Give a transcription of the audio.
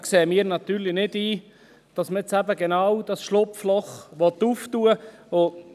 Da sehen wir natürlich nicht ein, dass man genau dieses Schlupfloch aufmachen will.